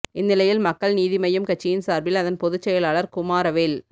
இந்நிலையில் மக்கள் நீதி மையம் கட்சியின் சார்பில் அதன் பொதுச்செயலாளர் குமாரவேல்